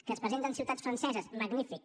que es presenten ciutats franceses magnífic